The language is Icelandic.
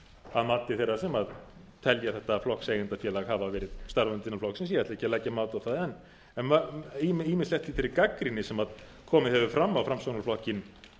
að mati þeirra sem telja þetta flokkseigendafélag hafa verið starfandi hann flokksins ég ætla ekki að leggja mat á það en ýmislegt í þeirri gagnrýni sem komið hefur fram á framsóknarflokkinn